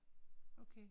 Okay